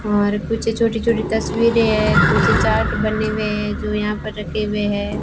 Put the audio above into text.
और कुछ छोटी छोटी तस्वीरें है कुछ चार्ट बने हुए हैं जो यहां पर रखे हुए हैं।